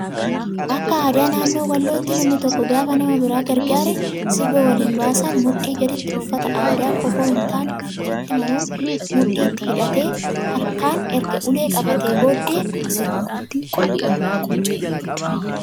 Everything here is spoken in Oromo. Akka aadaa naannoo wallootti namni tokko gaafa nama biraa gargaaree sirba waliin baasan mudhii gaditti uffata aadaa kofoo hin taane ofitti maruun mudhiitti hidhatee, harkaan erga ulee qabatee booddee sirba.